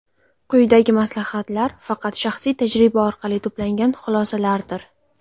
Quyidagi maslahatlar faqat shaxsiy tajriba orqali to‘plangan xulosalardir.